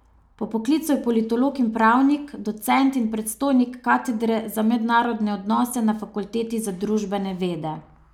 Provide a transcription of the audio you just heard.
Po poklicu je politolog in pravnik, docent in predstojnik katedre za mednarodne odnose na fakulteti za družbene vede.